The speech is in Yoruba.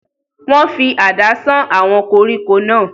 wọ́n fi àdá sán àwọn koríko náà